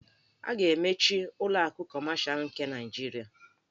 A ga-emechi ụlọ akụ Kọmashal nke Naịjirịa.